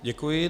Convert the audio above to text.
Děkuji.